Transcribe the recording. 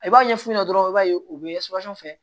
I b'a ɲɛ f'u ɲɛna dɔrɔn i b'a ye u be fɛ